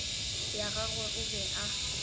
ya gagwe o be a